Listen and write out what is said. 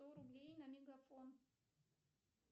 сто рублей на мегафон